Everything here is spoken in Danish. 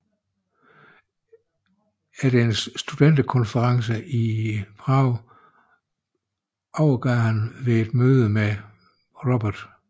Efter en studenterkonference i Prag overgav han ved et møde med Robert F